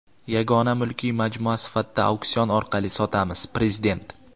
yagona mulkiy majmua sifatida auksion orqali sotamiz — Prezident.